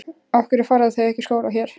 Af hverju fara þau þá ekki í skóla hér?